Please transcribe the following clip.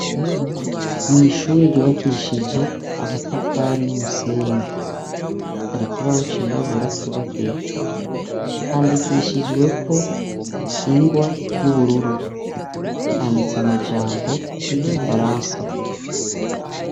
Mu ishure ryubakishije amatafari n'umusenyi hari kibaho cirirabura cubakiyeko ,handikishijweko ingwa y'ubururu handitse amajambo y'igifaransa.